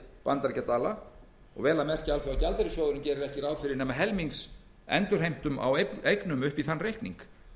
vel að merkja alþjóðagjaldeyrissjóðurinn gerir ekki ráð fyrir nema helmings endurheimtum á eignum upp í þann reikning